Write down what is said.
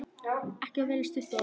Ekki velja stutt orð.